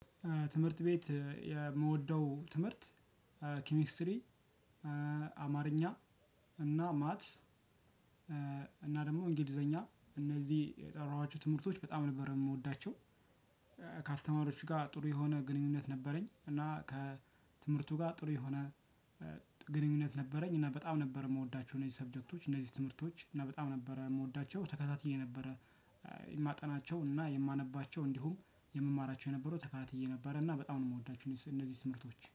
ትምህርት ቤት የምወደው ትምህርት እ ኬሚስትሪ እ አማርኛ እና ማትስ እና ደግሞ እንግሊዘኛ እነዚህ የጠራኋችሁ ትምህርቶች በጣም ነበር የምወዳቸው። ከአስተማሪዎቹ ጋር ጥሩ የሆነ ግንኙነት ነበረኝ እና ከትምህርቱ ጋር ጥሩ የሆነ ግንኙነት ነበረኝ። እና በጣም ነበር የምወዳቸው እነዚህ ሰብጀክቶች እነዚህ ትምህርቶች እና በጣም ነበረ የምወዳቸው። ተከታትዬ ነበረ እ የማጠናቸው እና የማነባቸው እንዲሁም የምማራቸው የነበረው ተከታትዬ ነበረ። እና በጣም ነው የምወዳቸው እነዚህ ትምህርቶች